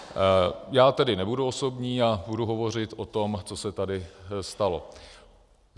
Já tedy nebudu osobní a budu hovořit o tom, co se tady stalo.